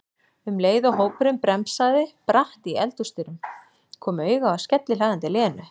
um leið og hópurinn bremsaði bratt í eldhúsdyrum, kom auga á skellihlæjandi Lenu.